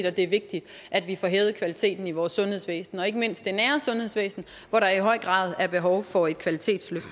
at det er vigtigt at vi får hævet kvaliteten i vores sundhedsvæsen og ikke mindst i det nære sundhedsvæsen hvor der i høj grad er behov for et kvalitetsløft